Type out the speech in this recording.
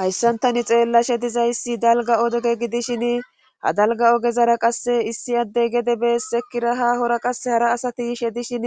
Hayssan tani xeellashe dizayssi dalga odege gidishin ha dalga ogezara qasse issi addey gede beessekiraha hora qase hara asati she dishin